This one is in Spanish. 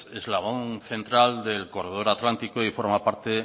eslabón central del corredor atlántico y forma parte